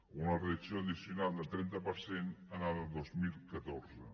o una reducció addicional del trenta per cent el dos mil catorze